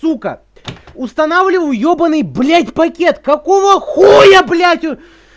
сука устанавливал ебанный блять пакет какого хуя блять